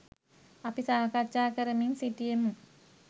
අපි සාකච්ඡා කරමින් සිටියෙමු